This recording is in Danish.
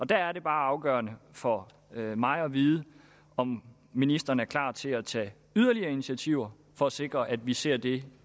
der er det bare afgørende for mig at vide om ministeren er klar til at tage yderligere initiativer for at sikre at vi ser det